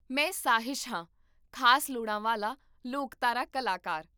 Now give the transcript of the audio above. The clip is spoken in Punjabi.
ਮੈਂ ਸਾਹਿਸ਼ ਹਾਂ, ਖ਼ਾਸ ਲੋੜਾਂ ਵਾਲਾ ਲੋਕਧਾਰਾ ਕਲਾਕਾਰ